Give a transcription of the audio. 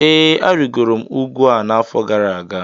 Ee, arịgoro m ugwu a n'afọ gara aga